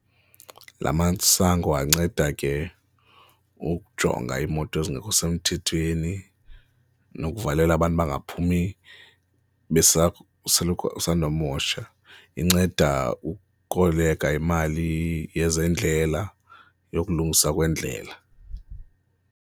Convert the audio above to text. Laa masango anceda ke ukujonga iimoto ezingekho semthethweni nokuvalela abantu bangaphumi besoloko, besandukumosha, inceda ukukoleka imali yezendlela, yokulungisa kweendlela.